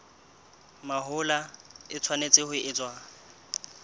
mahola e tshwanetse ho etswa